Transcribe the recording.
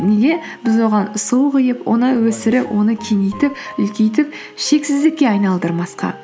неге біз оған су құйып оны өсіріп оны кеңейтіп үлкейтіп шексіздікке айналдырмасқа